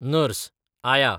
nurse, आया